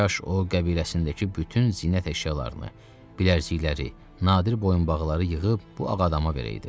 Kaş o qəbiləsindəki bütün zinət əşyalarını, bilərzikləri, nadir boyunbağları yığıb bu ağadama verəydi.